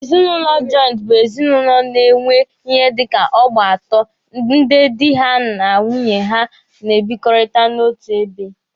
Ezinụlọ jọịntị bụ ezinụlọ a na-enwe ihe dika ọgbọ atọ ndị dị ha na nwunye ha na-ebikọta n'otu ebe.